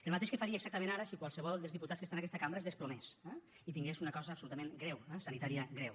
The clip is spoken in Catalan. el mateix que faria exactament ara si qualsevol dels diputats que estan en aquesta cambra es desplomés eh i tingués una cosa absolutament greu eh sanitària greu